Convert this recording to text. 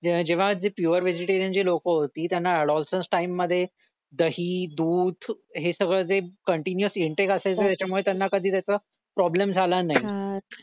जेव्हा जी pure vegetarian लोक जी होती त्यांना अडॉन्सन्स टाइम मध्ये दही दूध हे सगळं जे कॉन्टीनुएस इन्टेक असायचं त्याच्यामुळे त्यांना त्याच कधी प्रॉब्लेम झाला नाही